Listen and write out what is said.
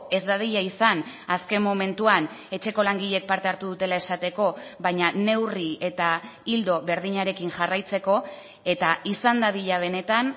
ez dadila izan azken momentuan etxeko langileek parte hartu dutela esateko baina neurri eta ildo berdinarekin jarraitzeko eta izan dadila benetan